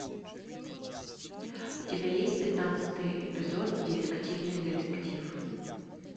у тебя есть пятнадцатый эпизод дефективный детектив